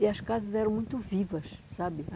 E as casas eram muito vivas, sabe?